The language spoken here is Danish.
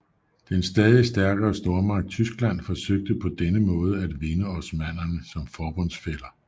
Den stadig stærkere stormagt Tyskland forsøgte på denne måde at vinde osmannerne som forbundsfæller